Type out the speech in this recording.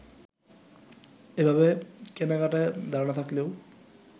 এভাবে কেনাকাটার ধারণা থাকলেও